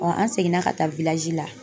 an seginna ka taa la